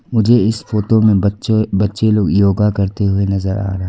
मुझे इस फोटो में बच्चों बच्चे लोग योग करते हुए नजर आ रहा है।